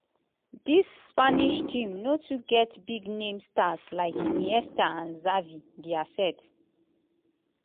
dis spanish team no too get big name stars like iniesta and xavi dia set.